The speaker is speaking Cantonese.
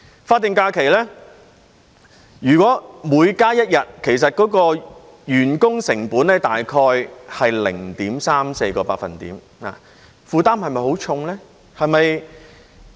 法定假期，如果每加一日，員工成本大概是 0.34 個百分點，負擔算重嗎？